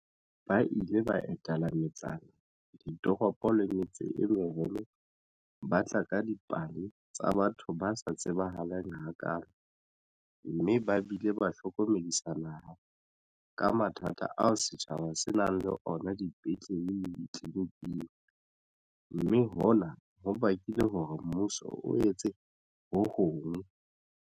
Ba ile ba etela metsana, ditoropo le metse e meholo mme ba tla ka dipale tsa batho ba sa tsebahaleng hakaalo mme ba bile ba hlokomedisa naha ka mathata ao setjhaba se nang le ona dipetlele le ditleliniking, mme hona ho bakile hore mmuso o etse ho hong.